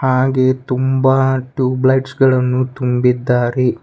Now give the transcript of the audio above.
ಹಾಗೆ ತುಂಬ ಟ್ಯೂಬ್ಲೆಟ್ಸ್ ಗಳನ್ನು ತುಂಬಿದ್ದಾರೆ.